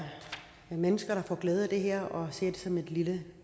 mennesker der får glæde af det her og ser det som et lille